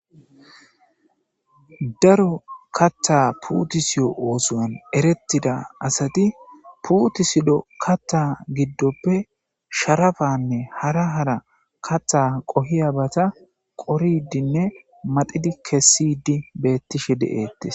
Daro katha putiso othuwa eretido asati putisida katha gidoppe sharappanne hara hara katha qohiyabata qoridinne maxidi kesidi betishe de'etes